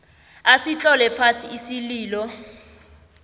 asitlole phasi isililo